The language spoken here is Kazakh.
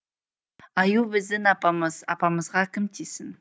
аю біздің апамыз апамызға кім тисін